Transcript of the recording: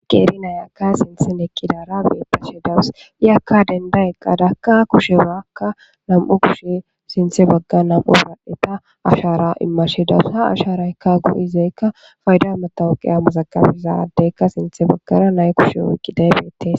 qeeri nayakka sinthen ekidara beetashe dawus i akka denda eqqadakka kushewakka nam7u kushe sinthe bagga nam7u bbadeta ashara immashedawus ha asharaykka gu7izaykka fayda matawuqiya muzagabizaddeykka sinthe baggara nay kushe wuyqqidaybeete